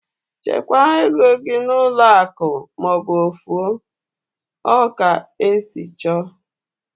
Chekwaa égo gị n'ụlọ akụ maọbụ ofu o! Ọ ka esi chọọ